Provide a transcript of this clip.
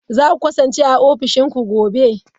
Za ku kasance a ofishin ku gobe?